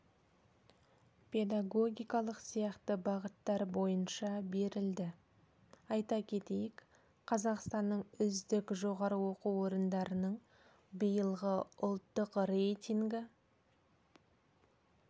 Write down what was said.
педагогикалық сияқты бағыттар бойынша берілді айта кетейік қазақстанның үздік жоғары оқу орындарының биылғы ұлттық рейтингі